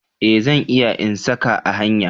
Eh, zan iya in sa ka a hanya.